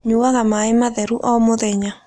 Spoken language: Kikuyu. Nyuaga maĩ matheru o mũthenya